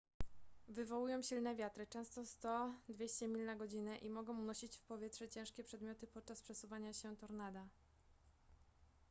wywołują silne wiatry często 100–200 mil na godzinę i mogą unosić w powietrze ciężkie przedmioty podczas przesuwania się tornada